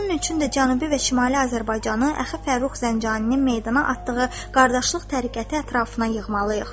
Bunun üçün də Cənubi və Şimali Azərbaycanı Əxi Fərrux Zəncaninin meydana atdığı qardaşlıq təriqəti ətrafına yığmalıyıq.